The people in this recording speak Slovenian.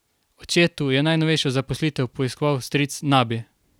Očetu je najnovejšo zaposlitev poiskal stric Nabi.